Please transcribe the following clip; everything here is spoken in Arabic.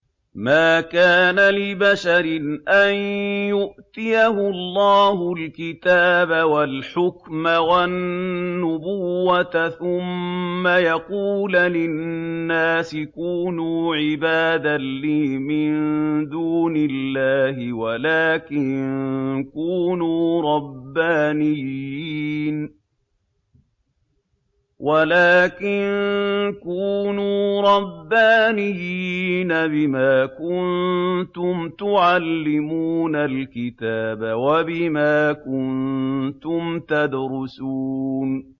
مَا كَانَ لِبَشَرٍ أَن يُؤْتِيَهُ اللَّهُ الْكِتَابَ وَالْحُكْمَ وَالنُّبُوَّةَ ثُمَّ يَقُولَ لِلنَّاسِ كُونُوا عِبَادًا لِّي مِن دُونِ اللَّهِ وَلَٰكِن كُونُوا رَبَّانِيِّينَ بِمَا كُنتُمْ تُعَلِّمُونَ الْكِتَابَ وَبِمَا كُنتُمْ تَدْرُسُونَ